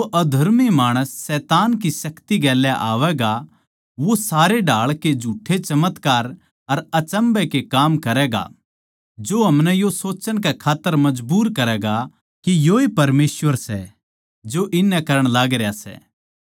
वो अधर्मी माणस शैतान की शक्ति गेल आवैगा वो सारे ढाळ के झुठ्ठे चमत्कार अर अचम्भै के काम करैगा जो हमनै यो सोच्चण कै खात्तर मजबूर करैगा के योए परमेसवर सै जो इननै करण लागरया सै